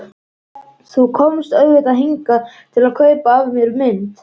Þú komst auðvitað hingað til að kaupa af mér mynd.